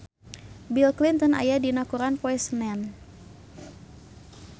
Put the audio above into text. Bill Clinton aya dina koran poe Senen